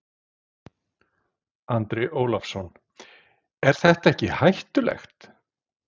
Andri Ólafsson: Er þetta ekkert hættulegt?